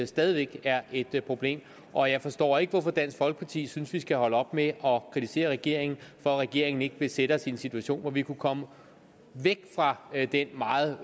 stadig væk er et problem og jeg forstår ikke hvorfor dansk folkeparti synes vi skal holde op med at kritisere regeringen for at regeringen ikke vil sætte os i en situation hvor vi kan komme væk fra den meget